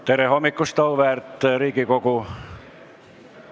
Tere hommikust, auväärt Riigikogu!